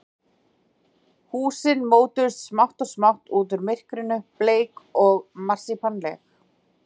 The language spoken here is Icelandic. Húsin mótuðust smátt og smátt út úr myrkrinu, bleik og marsípanleg.